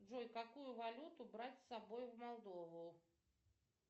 джой какую валюту брать с собой в молдову